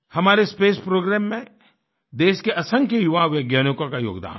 हमारे space programme में देश के असंख्य युवा वैज्ञानिकों का योगदान है